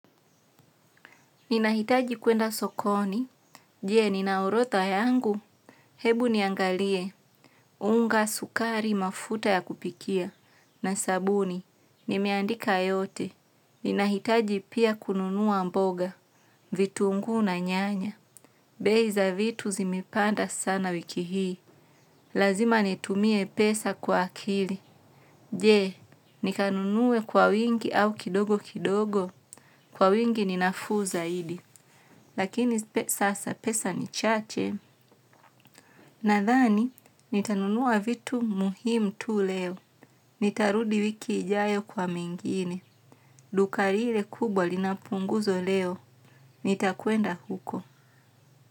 Ninahitaji kuenda sokoni, je nina orotha yangu, hebu niangalie, unga sukari mafuta ya kupikia, na sabuni, nimeandika yote, ninahitaji pia kununua mboga, vitu ngu na nyanya, beza vitu zimepanda sana wiki hii, lazima netumie pesa kwa akili, je nikanunuwe kwa wingi au kidogo kidogo, kwa wingi ninafuu zaidi. Lakini sasa pesa ni chache. Nadhani, nitanunua vitu muhimu tu leo. Nitarudi wiki ijayo kwa mengine. Duka liile kubwa linapunguzo leo. Nitakuenda huko.